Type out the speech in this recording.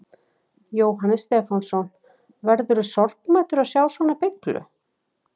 Jóhannes Stefánsson: Verðurðu sorgmæddur að sjá svona beyglu?